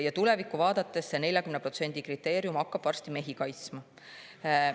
Ja tulevikku vaadates, see 40% kriteerium hakkab varsti mehi kaitsma.